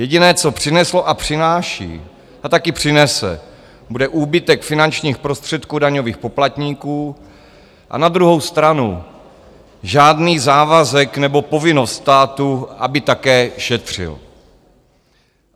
Jediné, co přineslo a přináší a taky přinese, bude úbytek finančních prostředků daňových poplatníků, a na druhou stranu žádný závazek nebo povinnost státu, aby také šetřil.